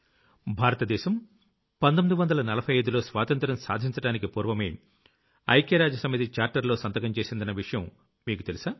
భారత దేశం 1945లో స్వాతంత్ర్యం సాధించడానికి పూర్వమే ఐక్యరాజ్య సమితి చార్టర్ లో సంతకం చేసిందన్న విషయం మీకు తెలుసా